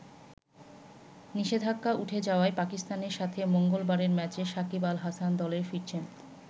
নিষেধাজ্ঞা উঠে যাওয়ায় পাকিস্তানের সাথে মঙ্গলবারের ম্যাচে সাকিব আল হাসান দলে ফিরছেন।